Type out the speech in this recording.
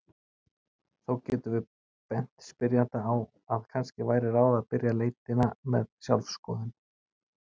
Þó getum við bent spyrjanda á að kannski væri ráð að byrja leitina með sjálfsskoðun.